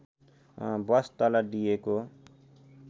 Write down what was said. बस तल दिइएको